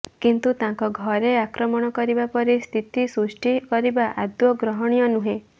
କିନ୍ତୁ ତାଙ୍କ ଘରେ ଆକ୍ରମଣ କରିବା ପରି ସ୍ଥିତି ସୃଷ୍ଟି କରିବା ଆଦୌ ଗ୍ରହଣୀୟ ନୁହେଁ